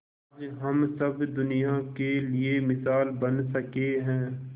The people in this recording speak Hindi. आज हम सब दुनिया के लिए मिसाल बन सके है